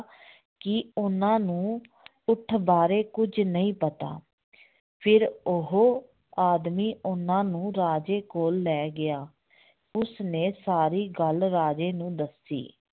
ਕਿ ਉਹਨਾਂ ਨੂੰ ਊਠ ਬਾਰੇ ਕੁੱਝ ਨਹੀਂ ਪਤਾ ਫਿਰ ਉਹ ਆਦਮੀ ਉਹਨਾਂ ਨੂੰ ਰਾਜੇ ਕੋਲ ਲੈ ਗਿਆ ਉਸਨੇ ਸਾਰੀ ਗੱਲ ਰਾਜੇ ਨੂੰ ਦੱਸੀ